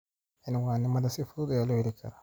Cinwaannada si fudud ayaa loo heli karaa.